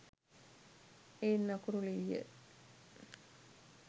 එයින් අකුරු ලිවීය.